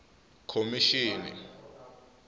khomixini